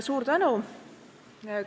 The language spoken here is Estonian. Suur tänu!